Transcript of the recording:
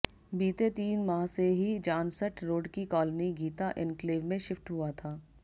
बीते तीन माह से ही जानसठ रोड की कॉलोनी गीता एन्क्लेव में शिफ्ट हुआ था